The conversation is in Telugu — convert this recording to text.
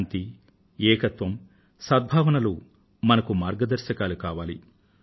శాంతి ఏకత్వం సద్భావనలు మనకు మార్గదర్శకాలు కావాలి